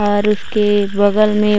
और उसके एक बगल में--